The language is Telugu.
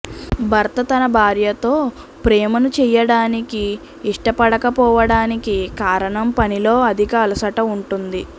భర్త తన భార్యతో ప్రేమను చేయడానికి ఇష్టపడకపోవడానికి కారణం పనిలో అధిక అలసట ఉంటుంది